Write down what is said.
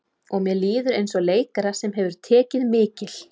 Og mér líður eins og leikara sem hefur tekið mikil